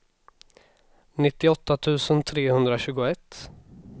nittioåtta tusen trehundratjugoett